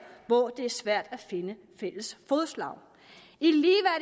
hvor det var svært at finde fælles fodslag